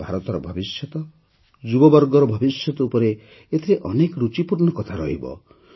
ଭାରତର ଭବିଷ୍ୟତ ଯୁବବର୍ଗର ଭବିଷ୍ୟତ ଉପରେ ଏଥିରେ ଅନେକ ଋଚିପୂର୍ଣ୍ଣ କଥା ରହିବ